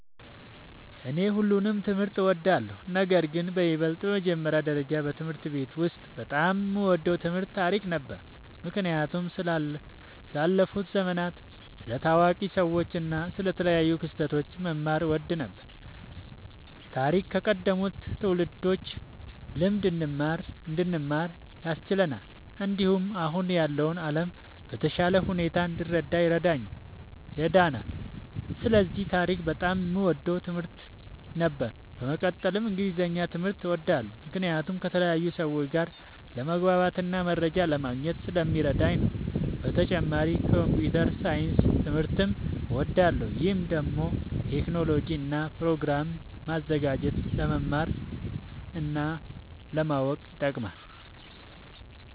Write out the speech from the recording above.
እኔ ሁሉንም ትምህርት እወዳለሁ፤ ነገርግን በይበልጥ በመጀመሪያ ደረጃ በትምህርት ቤት ውስጥ በጣም የምወደው ትምህርት ታሪክ ነበር። ምክንያቱም ስለ ያለፉ ዘመናት፣ ስለ ታዋቂ ሰዎች እና ስለ ተለያዩ ክስተቶች መማር እወድ ነበር። ታሪክ ከቀደሙት ትውልዶች ልምድ እንድንማር ያስችለናል፣ እንዲሁም አሁን ያለውን ዓለም በተሻለ ሁኔታ እንድንረዳ ይረዳናል። ስለዚህ ታሪክ በጣም የምወደው ትምህርት ነበር። በመቀጠልም እንግሊዝኛ ትምህርት እወዳለሁ ምክንያቱም ከተለያዩ ሰዎች ጋር ለመግባባትና መረጃ ለማግኘት ስለሚረዳኝ ነዉ። በተጨማሪም ኮምፒዉተር ሳይንስ ትምህርትም እወዳለሁ። ይህ ደግሞ ቴክኖሎጂን እና ፕሮግራም ማዘጋጀትን ለመማር እና ለማወቅ ይጠቅማል።